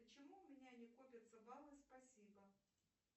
почему у меня не копятся баллы спасибо